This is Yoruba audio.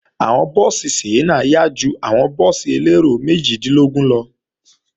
Àwọn búùsì Sienna yá ju àwọn búùsì elérò méjìdínlógún lọ